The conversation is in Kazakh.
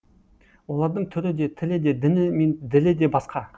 олардың түрі де тілі де діні мен ділі де басқа